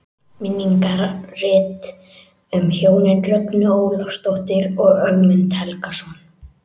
Minningarrit um hjónin Rögnu Ólafsdóttur og Ögmund Helgason.